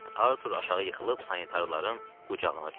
Artur aşağı yıxılıb sanitarların qucağına düşdü.